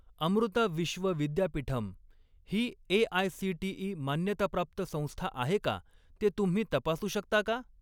अमृता विश्व विद्यापीठम् ही ए.आय.सी.टी.ई. मान्यताप्राप्त संस्था आहे का ते तुम्ही तपासू शकता का?